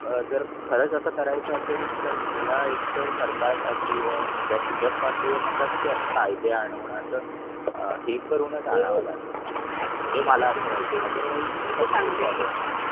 अह जर खरच अस करायचा असेल तर गेला. तर सरकार पातळीवर पूजा पाठ वगरे म्हणता तसे कायदे आणत अह हे करूनच आणावा लागेल मला असं वाटते.